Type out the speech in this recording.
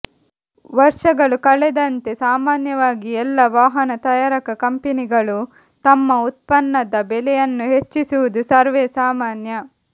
ವರ್ಷಗಳು ಕಳೆದಂತೆ ಸಾಮಾನ್ಯವಾಗಿ ಎಲ್ಲಾ ವಾಹನ ತಯಾರಕ ಕಂಪೆನಿಗಳು ತಮ್ಮ ಉತ್ಪನ್ನದ ಬೆಲೆಯನ್ನು ಹೆಚ್ಚಿಸುವುದು ಸರ್ವೇ ಸಾಮಾನ್ಯ